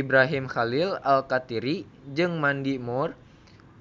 Ibrahim Khalil Alkatiri jeung Mandy Moore